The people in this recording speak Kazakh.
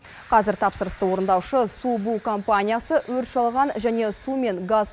қазір тапсырысты орындаушы су бу компаниясы өрт шалған және су мен газ